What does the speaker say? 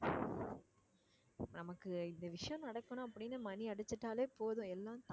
நமக்கு இந்த விஷயம் நடக்கணும் அப்படின்னு மணி அடிச்சிட்டாலே போதும் எல்லாம்